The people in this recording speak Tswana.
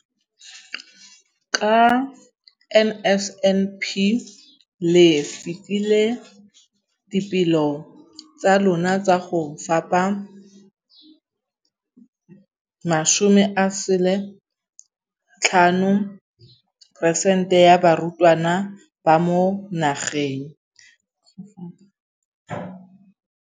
Ka NSNP le fetile dipeelo tsa lona tsa go fepa masome a supa le botlhano a diperesente ya barutwana ba mo nageng.